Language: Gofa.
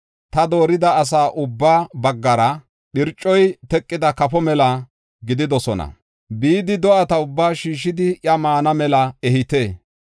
Ta doorida asay ubba baggara phircoy teqida kafo mela gididosona. Bidi do7ata ubbaa shiishidi iya maana mela ehite.